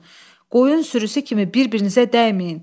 Qoyun sürüsü kimi bir-birinizə dəyməyin.